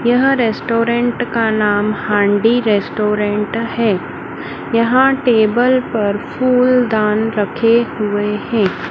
यहाँ रेस्टोरेंट का नाम हांडी रेस्टोरेंट है। यहाँ टेबल पर फुलदान रखे हुए हैं।